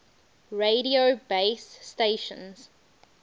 radio base stations